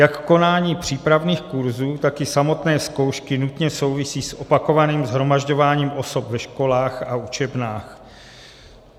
Jak konání přípravných kurzů, tak i samotné zkoušky nutně souvisí s opakovaným shromažďováním osob ve školách a učebnách.